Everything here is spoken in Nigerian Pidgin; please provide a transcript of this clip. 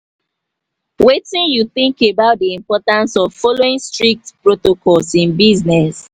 wetin you think about di importance of following strict protocols in business?